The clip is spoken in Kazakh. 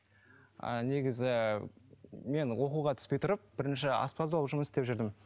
ыыы негізі мен оқуға түспей тұрып бірінші аспаз болып жұмыс істеп жүрдім